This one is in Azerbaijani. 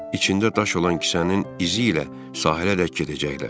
İçində daş olan kisənin izi ilə sahilədək gedəcəklər.